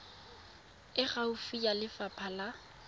e gaufi ya lefapha la